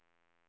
springa